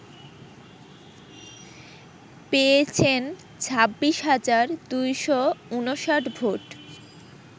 পেয়েছেন ২৬ হাজার ২৫৯ ভোট